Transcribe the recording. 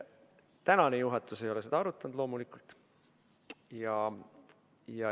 Ametisolev juhatus ei ole loomulikult seda küsimust arutanud.